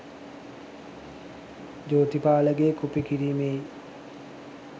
ජෝතිපාලගෙ copy කිරීමෙයි